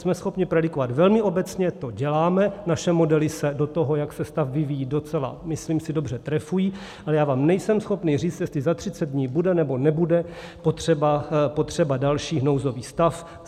Jsme schopni predikovat velmi obecně, to děláme, naše modely se do toho, jak se stav vyvíjí docela, myslím si, dobře trefují, ale já vám nejsem schopen říct, jestli za 30 dní bude, nebo nebude potřeba další nouzový stav.